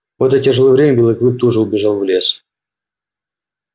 в это тяжёлое время белый клык тоже убежал в лес